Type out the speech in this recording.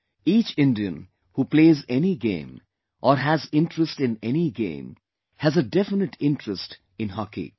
Each Indian who plays any game or has interest in any game has a definite interest in Hockey